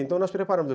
Então nós preparamos.